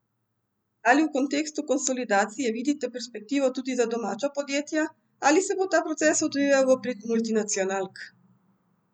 Ali v kontekstu konsolidacije vidite perspektivo tudi za domača podjetja ali se bo ta proces odvijal v prid multinacionalk?